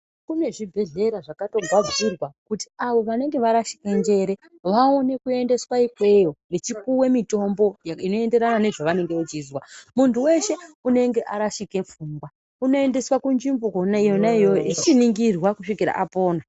Kune zvibhehlera zvakatogadzirwa kuti avo vanenge varashika njere vaone kuendeswa ikweyo vechipuwe mitombo inoenderana nezvavanenge vechizwa. Muntu weshe unenge arashike pfungwa unoendeswe kunzvimbo kwona iyoyo achichiningirwa kusvika apona.